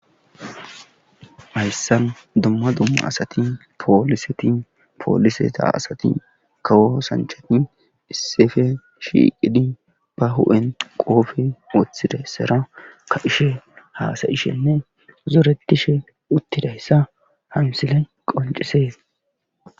Hayssan dumma dumma asati pooliseti pooliseta asati kawo sanchati issefe shiiqidi ba hu7en qoofe woththidayssara ka7hishe haasayishenne zoretishe uttidayssa hamsile qoncisees.